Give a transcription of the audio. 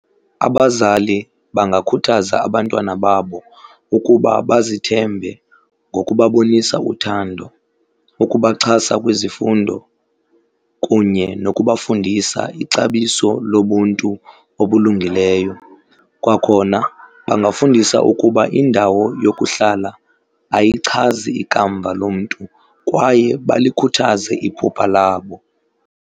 Abazali bangakhuthaza abantwana babo ukuba bazithembe ngokubabonisa uthando, ukubaxhasa kwizifundo kunye nokubafundisa ixabiso lobuntu obulungileyo. Kwakhona bangafundisa ukuba indawo yokuhlala ayichazi ikamva lomntu kwaye balikhuthaze iphupha labo.